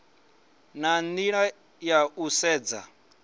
na nila ya u sedza